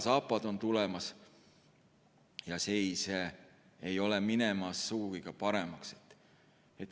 Zapad on tulemas ja seis ei ole sugugi paremaks minemas.